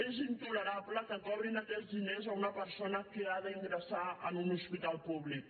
és intolerable que cobrin aquests diners a una persona que ha d’ingressar en un hospital públic